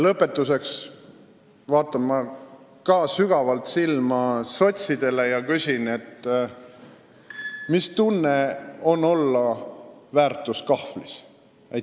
Lõpetuseks vaatan minagi sügavalt silma sotsidele ja küsin: mis tunne on olla väärtuskahvlis?